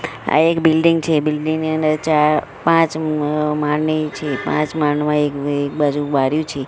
આ એક બિલ્ડીંગ છે બિલ્ડીંગ ની અંદર ચાર પાંચ મ માળની છે પાંચ માળમાં એક બાજુ બારિયું છે.